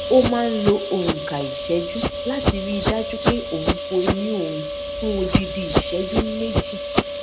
ó máa ń lo ònkà ìṣéjú láti rí i dájú pé òun fọ eyín òun fún odindi ìṣéjú méjì